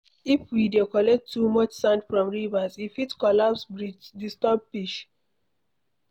If we dey collect too much sand from rivers, e fit collapse bridges, disturb fish